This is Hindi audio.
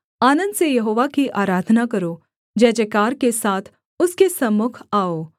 आनन्द से यहोवा की आराधना करो जयजयकार के साथ उसके सम्मुख आओ